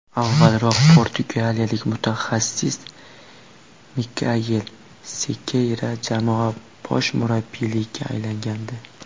Avvalroq portugaliyalik mutaxassis Mikael Sekeyra jamoa bosh murabbiyiga aylangandi .